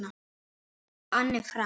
Anne Frank.